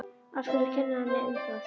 Af hverju að kenna henni um það?